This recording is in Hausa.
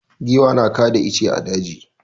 Giwa na kada ice a daji.